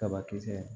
Kabakisɛ